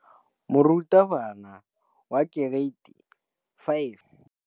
Moratabana wa kereiti ya 5 o ne a ruta baithuti ka popô ya polelô.